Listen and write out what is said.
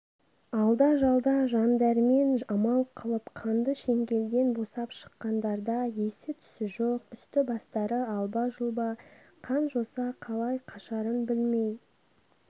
алда-жалда жандәрмен амал қылып қанды шеңгелден босап шыққандарда есі-түсі жоқ үсті-бастары алба-жұлба қан-жоса қалай қашарын білмей